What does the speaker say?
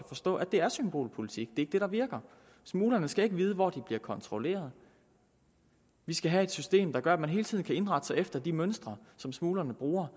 forstå at det er symbolpolitik det er ikke det der virker smuglerne skal ikke vide hvor de bliver kontrolleret vi skal have et system der gør at man hele tiden kan indrette sig efter de mønstre som smuglerne bruger